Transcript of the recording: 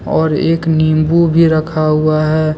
और एक नींबू भी रखा हुआ है।